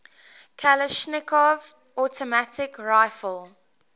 kalashnikov automatic rifle